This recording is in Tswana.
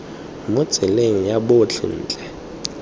mo tseleng ya botlhe ntle